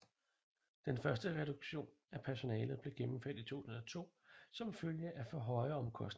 Den første reduktion i personalet blev gennemført i 2002 som følge af for høje omkostninger